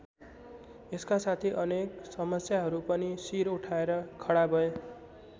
यसका साथै अनेक समस्याहरू पनि सिर उठाएर खडा भए।